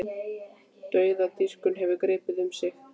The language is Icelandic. Dauðadýrkun hefur gripið um sig í